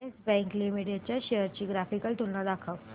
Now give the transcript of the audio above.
yes Bank Limited च्या shares ची graphical तुलना दाखव